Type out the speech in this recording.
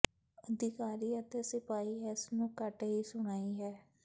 ਅਧਿਕਾਰੀ ਅਤੇ ਸਿਪਾਹੀ ਇਸ ਨੂੰ ਘੱਟ ਹੀ ਸੁਣਾਈ ਹੈ